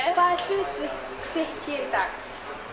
er hlutverk þitt hér í dag